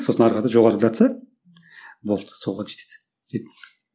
сосын ары қарата жоғарылатса болды соған жетеді